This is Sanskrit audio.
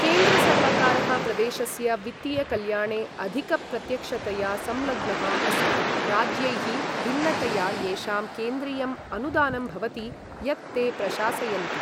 केन्द्रसर्वकारः प्रदेशस्य वित्तीयकल्याणे अधिकप्रत्यक्षतया संलग्नः अस्ति, राज्यैः भिन्नतया, येषां केन्द्रीयम् अनुदानं भवति यत्ते प्रशासयन्ति।